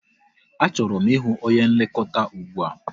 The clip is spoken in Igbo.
Achọrọ m ịhụ onye nlekọta ụgbụa!